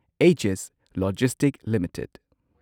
Agis logistics limited